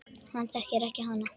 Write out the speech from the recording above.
Hann þekkir hana.